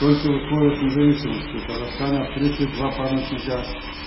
только в условиях независимости в казахстане открыты два памятника